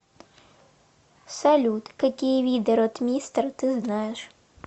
салют какие виды ротмистр ты знаешь